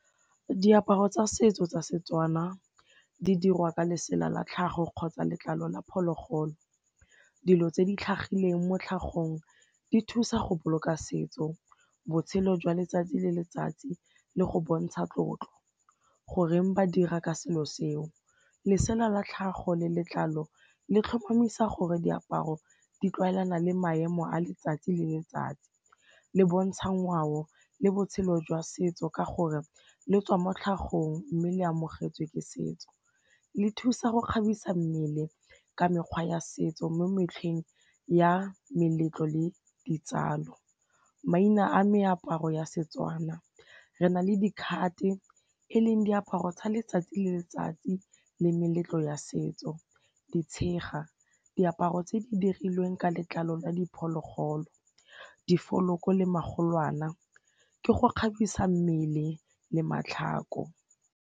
Diaparo tsa setso tsa seTswana di dirwa ka lesela la tlhago kgotsa letlalo la phologolo, dilo tse di tlhagileng mo tlhagong di thusa go boloka setso, botshelo jwa letsatsi le letsatsi le go bontsha tlotlo. Goreng ba dira ka selo seo, lesela la tlhago le letlalo le tlhomamisa gore diaparo di tlwaelana le maemo a letsatsi le letsatsi, le bontsha ngwao le botshelo jwa setso ka gore letswa mo tlhagong mme le amogetswe ke setso, le thusa go kgabisa mmele ka mekgwa ya setso mo metlheng ya meletlo le ditsalo. Maina a meaparo ya seTswana re na le dikhate eleng diaparo tsa letsatsi le letsatsi le meletlo ya setso, ditshega diaparo tse di dirilweng ka letlalo la diphologolo, difoloko le magolwana, ke go kgabisa mmele le matlhako.